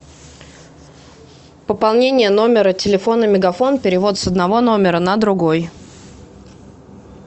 пополнение номера телефона мегафон перевод с одного номера на другой